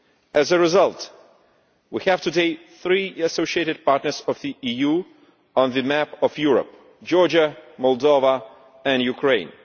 As a result, we have today three associated partners of the EU on the map of Europe Georgia, Moldova and Ukraine.